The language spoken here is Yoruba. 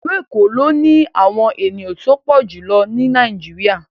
Ilu Eko lo ni awọn eniyan ti o pọ julọ ni Nàìjíríà